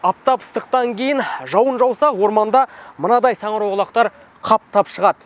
аптап ыстықтан кейін жауын жауса орманда мынадай саңырауқұлақтар қаптап шығады